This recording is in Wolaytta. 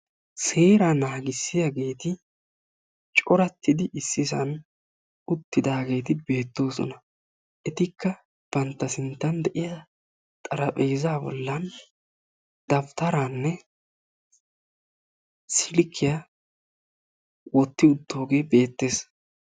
Seeraa naagissiyaageeti coratidi ississan uttidageeti bettoossona; etikka bantta sinttan de'iyaa xarapheezza bollan dawutaranne silkkiya wotti uttooge bettees.